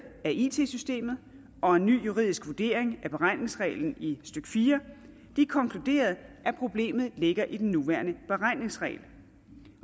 af it systemet og en ny juridisk vurdering af beregningsreglen i stykke fire konkluderede at problemet ligger i den nuværende beregningsregel